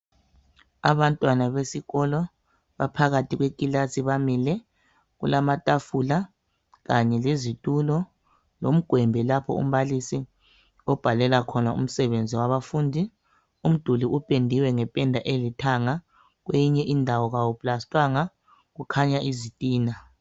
Abantwana besikolo baphakathi kwekilasi bamile kulamatafula, kanye lezitulo lomgwembe lapho umbalisi obhalela khona umsebenzi wabafundi umduli upendiwe ngependa elithanga, kweyinye indawo kawuplastwanga kukhanya izitina.